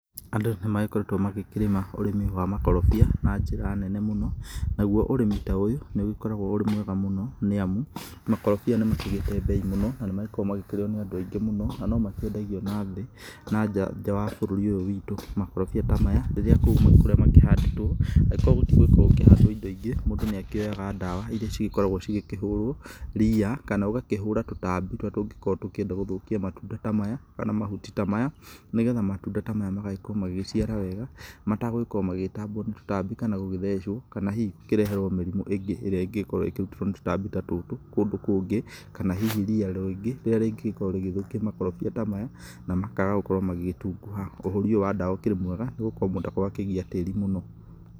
Andũ nĩmakoragwo magĩkĩrĩma ũrĩmi wa makorobia na njĩra nene mũno, naguo ũrĩmĩ ta ũyũ nĩũgĩkoragwo ũrĩ mwega mũno, nĩamu makorobia nĩmakĩgĩte mbei mũno na nĩmagĩkoragwo makĩrĩo nĩ andũ aingĩ mũno, na nomakĩendagio na thĩ na nja atĩ wa bũrũri ũyũ witũ, makorobia ta maya rĩrĩa kũu kũrĩa makĩhandĩtwo angĩkorwo gũtigũkorwo gũkĩhandwo indo ingĩ, mũndũ nĩakĩoyaga dawa iria cigĩkoragwo cigĩkĩhũrwo ria, kana ũgakĩhũra tũtambi tũrĩa tũngĩkorwo tũkĩenda gũthũkia matunda ta maya kana mahuti ta maya, nĩgetha matunda ta maya magagĩkorwo magĩgĩciara wega matagũkorwo magĩgĩtambwo nĩ tũtambi kana gũgĩthecwo, kana hihi gũkĩreherwo mĩrimũ ĩngĩ ĩrĩa ĩngĩkorwo ĩkĩrutĩtwo nĩ tũtambi ta tũtũ kũndũ kũngĩ, kana hihi ria rĩingĩ rĩrĩa rĩngĩkorwo rĩgĩthũkia makorobia ta maya na makaga gũkorwo magĩtunguha, ũhũri ũyũ wa dawa ũkĩrĩ mwega nĩgũkorwo mũndũ ndakoragwo akĩgia tĩri mũno.